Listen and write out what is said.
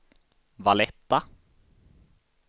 Valletta